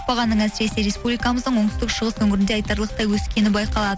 бағаның әсіресе республикамыздың оңтүстік шығыс өңірінде айтарлықтай өскені байқалады